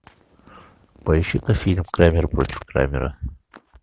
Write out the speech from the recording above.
поищи ка фильм крамер против крамера